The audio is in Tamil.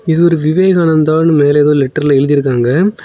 இது ஒரு விவேகானந்தானு மேல ஏதோ லெட்டர்ல எழுதியிருக்காங்க.